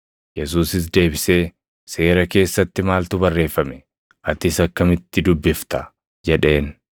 Yesuusis deebisee, “Seera keessatti maaltu barreeffame? Atis akkamitti dubbifta?” jedheen.